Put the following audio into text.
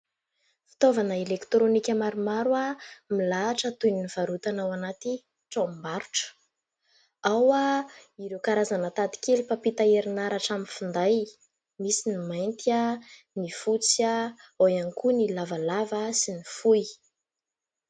Fitaovana elektrônika maromaro milahatra toy ny varotana ao anaty tranombarotra. Ao ireo karazana tady kely mpampita herinaratra amin'ny finday, misy ny mainty, ny fotsy ihany koa ny lavalava sy ny fohy.